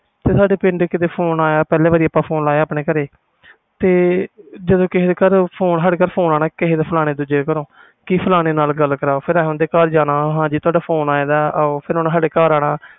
ਤੇ ਪਿੰਡ ਸਾਡੇ ਫੋਨ ਆਇਆ ਪਹਿਲੇ ਵਾਰੀ ਆਪਾ phone ਲਾਇਆ ਆਪਣੇ ਘਰ ਜਦੋ ਕਿਸੇ ਦੇ ਘਰੋਂ ਸਾਡੇ ਘਰ ਫੋਨ ਆਣਾ ਦੂਜੇ ਘਰੋਂ ਓਹਦੇ ਨਾਲ ਗੱਲ ਕਰਾਓ ਫਿਰ ਓਹਦੇ ਘਰ ਜਾਣਾ ਹਾਂ ਜੀ ਤੁਹਾਡਾ ਫੋਨ ਆਇਆ ਫਿਰ ਸਾਡੇ ਘਰ ਆਣਾ ਓਹਨੇ